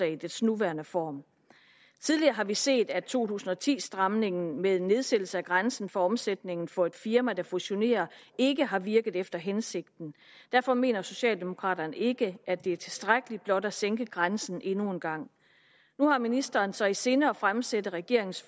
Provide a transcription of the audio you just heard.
i dets nuværende form tidligere har vi set at to tusind og ti stramningen med nedsættelse af grænsen for omsætningen for et firma der fusionerer ikke har virket efter hensigten derfor mener socialdemokraterne ikke at det er tilstrækkeligt blot at sænke grænsen endnu en gang nu har ministeren så i sinde at fremsætte regeringens